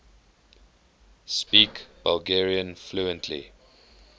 speak bulgarian fluently